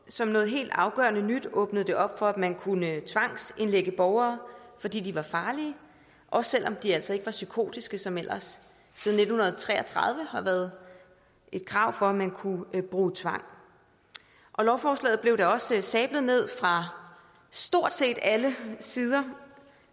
som noget helt afgørende nyt åbnede det op for at man kunne tvangsindlægge borgere fordi de var farlige også selv om de altså ikke var psykotiske som ellers siden nitten tre og tredive har været et krav for at man kunne bruge tvang lovforslaget blev da også sablet ned fra stort set alle sider